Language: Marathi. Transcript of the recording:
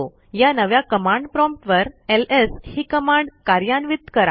या नव्या कमांड प्रॉम्प्ट वर एलएस ही कमांड कार्यान्वित करा